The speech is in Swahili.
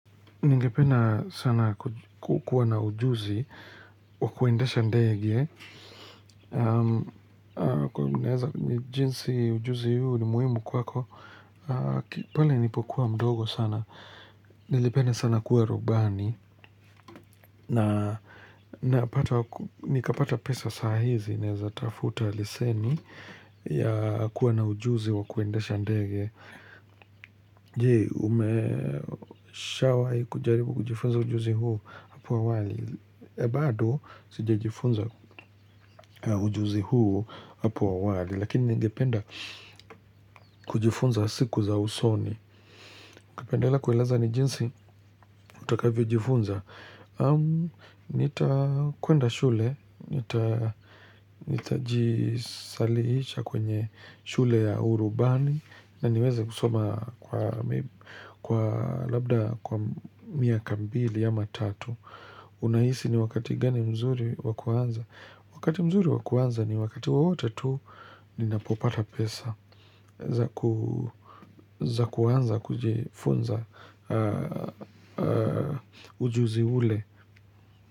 Ningependa sana kukuwa na ujuzi wa kuendesha ndege. Jinsi ujuzi huu ni muhimu kwako. Ki pale nilipokuwa mdogo sana. Nilipenda sana kuwa rubani. Nikapata pesa sahizi. Naweza kutafuta leseni ya kuwa na ujuzi wa kuendesha ndege. Je, umeshawahi kujaribu kujifunza ujuzi huu hapo awali bado, sijajifunza ujuzi huu hapo awali. Lakini ningependa kujifunza siku za usoni. Kupendela kueleza ni jinsi utakavyo ujifunza. Amm, nitakwenda shule. Nitajisajilisha kwenye shule ya urubani na niweze kusoma kwa labda kwa miaka mbili ama tatu. Unahisi ni wakati gani mzuri wakuanza? Wakati mzuri wakuanza ni wakati wote tu ninapopata pesa za kuanza kujifunza ujuzi ule.